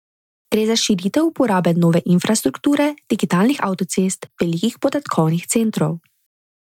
Gre za širitev uporabe nove infrastrukture, digitalnih avtocest, velikih podatkovnih centrov.